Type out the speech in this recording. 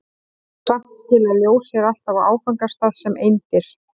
Samt skilar ljós sér alltaf á áfangastað sem eindir.